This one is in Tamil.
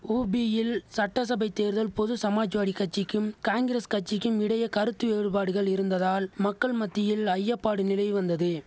உபியில் சட்டசபைத் தேர்தல் பொது சமாஜ்வாடி கட்சிக்கும் காங்கிரஸ் கட்சிக்கும் இடையே கருத்து வேறுபாடுகள் இருந்ததால் மக்கள் மத்தியில் ஐயப்பாடு நிலவி வந்தது